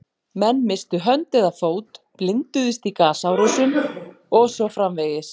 Menn misstu hönd eða fót, blinduðust í gasárásum og svo framvegis.